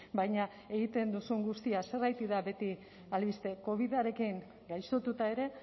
baina egiten duzun guztia zergatik da beti albiste covidarekin gaixotuta ere